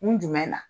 Kun jumɛn na